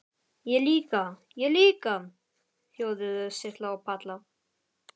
Ég líka, ég líka!!! hljóðuðu Silla og Palla.